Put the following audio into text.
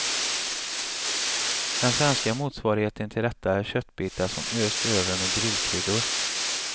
Den svenska motsvarigheten till detta är köttbitar som östs över med grillkryddor.